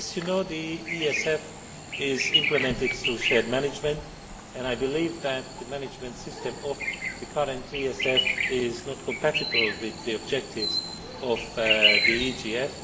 As you know, the ESF is implemented through shared management, and I believe that the management system of the current ESF is not compatible with the objectives of the EGF.